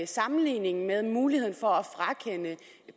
sammenligningen med muligheden for at frakende